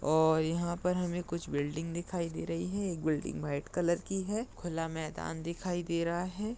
और यहाँ पर हमे कुछ बिल्डिंग दिखाई दे रही है एक बिल्डिंग व्हाइट कलर की है खुला मैदान दिखाई दे रहा है।